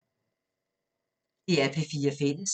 DR P4 Fælles